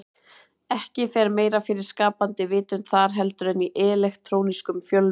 Ekki fer meira fyrir skapandi vitund þar heldur en í elektrónískum fjölmiðlum.